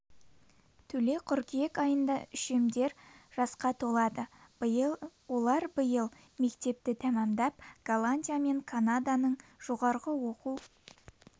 төле қыркүйек айында үшемдер жасқа толады олар биыл мектепті тәмамдап голландия мен канаданың жоғары оқу